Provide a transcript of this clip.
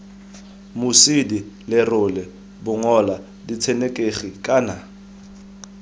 mosidi lerole bongola ditshenekegi kana